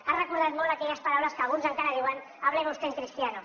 ha recordat molt aquelles paraules que alguns encara diuen hábleme usted en cristiano